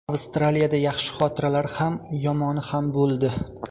Avstraliyada yaxshi xotiralar ham, yomoni ham bo‘ldi.